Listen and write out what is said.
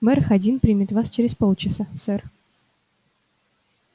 мэр хадин примет вас через полчаса сэр